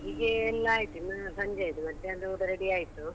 ಅಡುಗೆ ಎಲ್ಲ ಆಯ್ತು ಇನ್ನು ಸಂಜೆದು, ಮಧ್ಯಾಹ್ನದು ಊಟ ready ಆಯ್ತು.